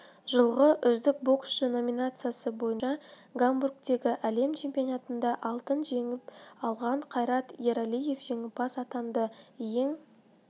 жылғы үздік боксшы номинациясы бойынша гамбургтегі әлем чемпионатында алтын жеңіп алған қайрат ералиев жеңімпаз атанды ең